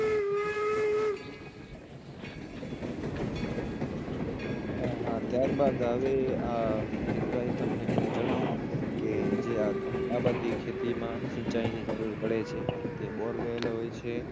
હા હા ત્યારબાદ હવે મિતભાઈ તમને હું કે જે આ બધી ખેતીમાં સિંચાઇની જરૂર પડે છે તે borewell બોરેવેલ હોય છે